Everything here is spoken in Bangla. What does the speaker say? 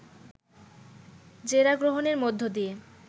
জেরা গ্রহণের মধ্য দিয়ে